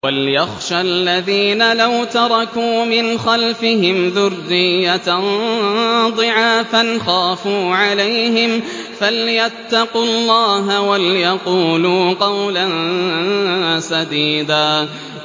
وَلْيَخْشَ الَّذِينَ لَوْ تَرَكُوا مِنْ خَلْفِهِمْ ذُرِّيَّةً ضِعَافًا خَافُوا عَلَيْهِمْ فَلْيَتَّقُوا اللَّهَ وَلْيَقُولُوا قَوْلًا سَدِيدًا